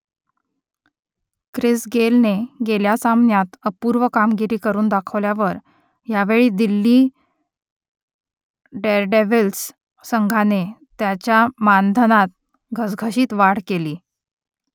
Chris गेलने गेल्या सामन्यात अपूर्व कामगिरी करून दाखवल्यावर यावेळी दिल्ली डेअरडेव्हिल्स संघाने त्याच्या मानधनात घसघशीत वाढ केली